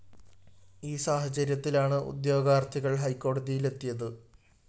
ഈ സാഹചര്യത്തിലാണ് ഉദ്യോഗാര്‍ത്ഥികള്‍ ഹൈക്കോടതിയിലെത്തിയത്